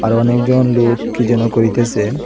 আরো অনেকজন লোক কি যেন করিতেসে।